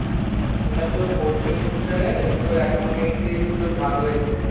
ওটা তোর four semester এ এই তোর accountancy এর দুটো ভাগ হয়ে যায়